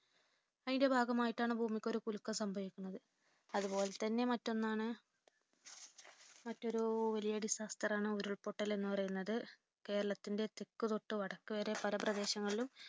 അതിന്റെ ഭാഗമായിട്ടാണ് ഭൂമിക്കൊരു കുലുക്കം സംഭവിക്കുന്നത്. അതുപോലെത്തന്നെ മറ്റൊന്നാണ് മറ്റൊരു വലിയ disaster ണ് ഉരുൾപൊട്ടൽ എന്നുപറയുന്നത്കേ. രളത്തിന്റെ തെക്കുതോട്ട് വടക്കുവരെ പല പ്രദേശങ്ങളിലും